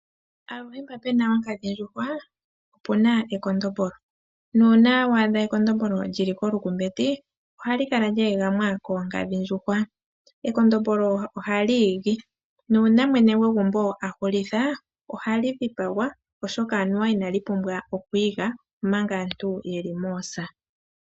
Aluhe mpa puna onkadhindjuhwa opuna ekondombolo nuuna waadha ekondombolo lyili kolukumbeti ohali kala lyeegamwa koonkadhindjuhwa. Ekondombolo ohali igi, nuuna mwene gwegumbo ahulitha ohali dhipagwa oshoka aniwa inali pumbwa okwiiga omanga aantu yeli moosa.